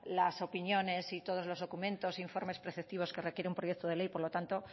las opiniones y todos los documentos e informes preceptivos que requiere un proyecto de ley por lo tanto